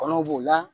Kɔnɔw b'o la